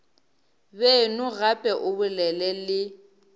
beno gape o bolele le